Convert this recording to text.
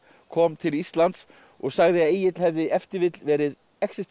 kom til Íslands og sagði að Egill hefði ef til vill verið